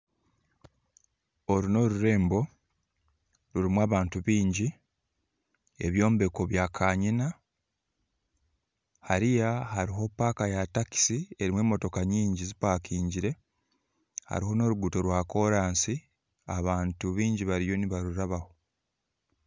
Oru n'orurembo rurimu abantu bingi ebyombeko byakanyina hariya haruho paaka ya takisi erimu emotoka nyingi zipakingire hariho n'oruguutoo rwakorasi abantu bingi bariyo nibarurabaho.